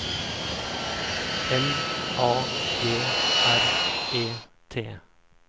L A G R E T